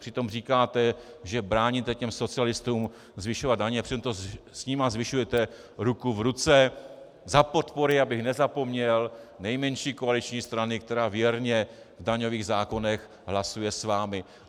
Přitom říkáte, že bráníte těm socialistům zvyšovat daně, přitom to s nimi zvyšujete ruku v ruce, za podpory - abych nezapomněl - nejmenší koaliční strany, která věrně v daňových zákonech hlasuje s vámi.